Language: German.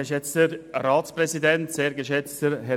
Kommissionssprecher